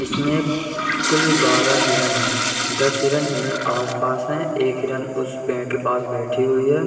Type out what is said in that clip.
इसमें कुल बारह हिरण हैं | दस हिरन इधर आसपास हैं | एक हिरन उस पेड़ के पास बैठे हुई है |